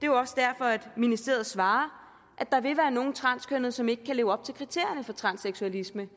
jo også derfor ministeriet svarer at der vil være nogle transkønnede som ikke kan leve op til kriterierne for transseksualisme